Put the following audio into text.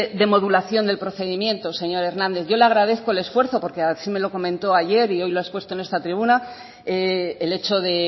de modulación del procedimiento señor hernández yo le agradezco el esfuerzo porque así me lo comentó ayer y hoy lo ha expuesto en esta tribuna el hecho de